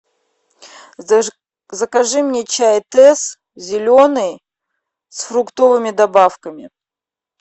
закажи мне чай тесс зеленый с фруктовыми добавками